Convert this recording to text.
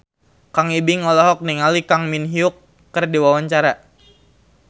Kang Ibing olohok ningali Kang Min Hyuk keur diwawancara